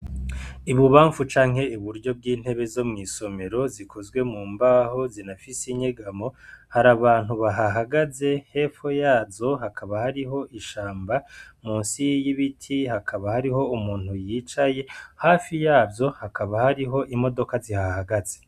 Ibubamfu canke iburyo bw'intebe zo mw'isomero, zikozwe mu mbaho zinafise inyegamo, hari abantu bahahagaze. Hepfo yazo hakaba hariho ishamba, musi y'ibiti hakaba hariho umuntu yicaye, hafi yazo hakaba hariho imodoka zihahagaze.